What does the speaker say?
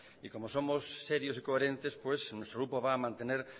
y como somos serios y coherentes pues nuestro grupo va a mantener